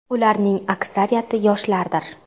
Ularning aksariyati yoshlardir.